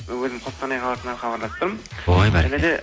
өзім қостанай қаласынан хабарласып тұрмын ой бәрекелді